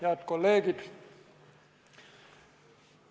Head kolleegid!